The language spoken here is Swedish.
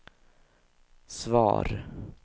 svar